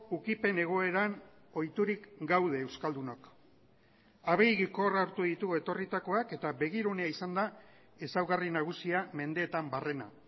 ukipen egoeran ohiturik gaude euskaldunok abegikor hartu ditugu etorritakoak eta begirunea izan da ezaugarri nagusia mendeetan barrena